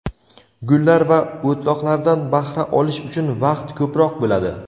gullar va o‘tloqlardan bahra olish uchun vaqt ko‘proq bo‘ladi.